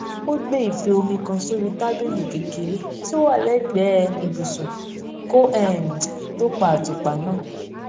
ó gbé ife omi kan sórí tábìlì kékeré tí ó wà lẹgbẹẹ ibùsùn kó um tó pa àtùpà náà